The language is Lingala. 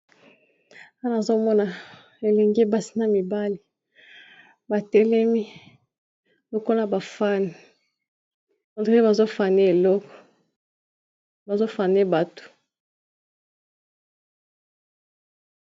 wana azomona elengi basi na mibale batelemi lokola bafanne ontree eloko bazofane bato